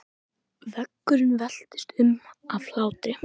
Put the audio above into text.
Veggurinn veltist um af hlátri.